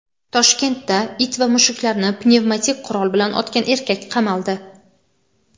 Toshkentda it va mushuklarni pnevmatik qurol bilan otgan erkak qamaldi.